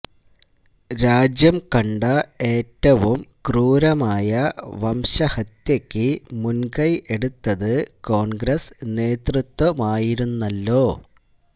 രാജ്യം കണ്ട ഏറ്റവും ക്രൂരമായ വംശഹത്യക്ക് മുന്കൈ എടുത്തത് കോണ്ഗ്രസ് നേതൃത്വമായിരുന്നല്ലൊ